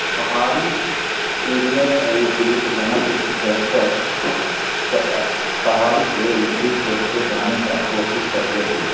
पहाड़ी एरिया का दृश्य जहाँ पे कुछ दर्शक पहाड़ के ऊपरी छोर पे जाने का कोशिश करते हुए --